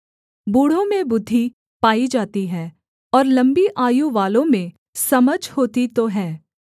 बूढ़ों में बुद्धि पाई जाती है और लम्बी आयु वालों में समझ होती तो है